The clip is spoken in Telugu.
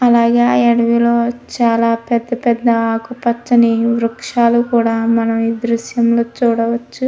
అలాగే అడవిలో పెద్ద పెద్ద ఆకుపచ్చని వృక్షాన్ని కూడా మనం ఈ దృశ్యంలో చూడవచ్చు.